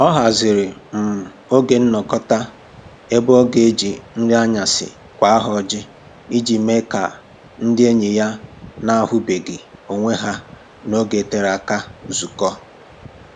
Ọ haziri um oge nnọkọta ebe ọ ga-eji nri anyasị kwaa ha ọjị iji mee ka ndị enyi ya na-ahụbeghị onwe ha n'oge tere aka zukọọ